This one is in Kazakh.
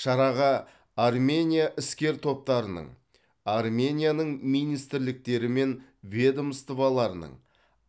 шараға армения іскер топтарының арменияның министрліктері мен ведомстволарының